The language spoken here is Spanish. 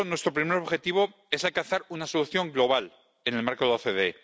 Por eso, nuestro primer objetivo es alcanzar una solución global en el marco de la OCDE.